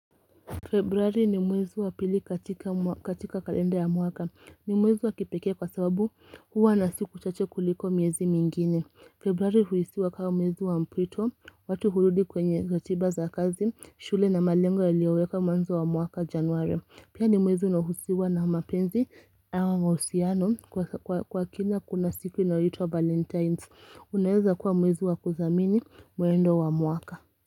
Februari ni mwezi wa pili katika kalenda ya mwaka. Ni mwezi wa kipeke kwa sababu huwa na siku chache kuliko miezi mingine. Februari huisiwa kama mwezi wa mpwito, watu hurudi kwenye ratiba za kazi, shule na malengo ilioweka mwanzo wa mwaka januare. Pia ni mwezi unahusiwa na mapenzi awo mausiano kwa kina kuna siku inayitwa valentines. Unaeza kuwa mwezi wa kuthamini muendo wa mwaka.